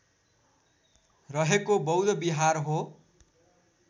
रहेको बौद्ध बिहार हो